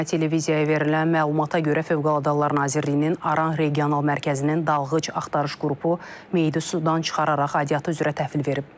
İctimai Televiziyaya verilən məlumata görə Fövqəladə Hallar Nazirliyinin Aran Regional Mərkəzinin dalğıc axtarış qrupu meyidi sudan çıxararaq aidiyyəti üzrə təhvil verib.